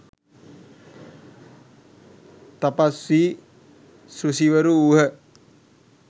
තපස් වී ඍෂිවරු වූහ.